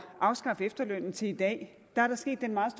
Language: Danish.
at afskaffe efterlønnen til i dag er der sket den meget